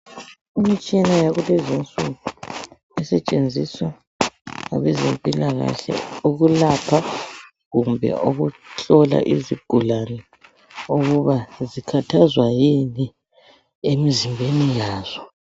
Imitshina yakulezi insuku esetshenziswa ngabezempilakahle ukulapha kumbe ukuhlola izigulane ukuba zikhathazwa yini emzimbeni yazo